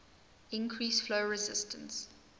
increase flow resistance